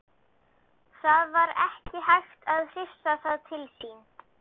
Ertu að gera eitthvað sérstakt, Diddi minn.